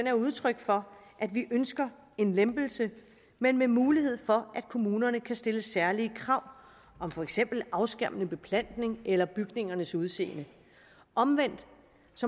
er udtryk for at vi ønsker en lempelse men med mulighed for at kommunerne kan stille særlige krav om for eksempel afskærmende beplantning eller bygningernes udseende omvendt